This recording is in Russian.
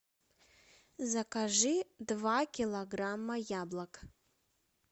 закажи два килограмма яблок